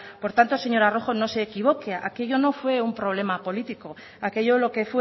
por tanto señora rojo no se equivoque aquello no fue un problema político aquello lo que